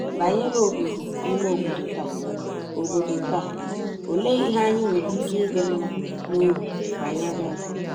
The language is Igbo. Banyere obodo ime obodo taa, obodo taa, olee ihe anyị nwere ike ịdị mma n’obi banyere ya?